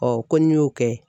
ko n'i y'o kɛ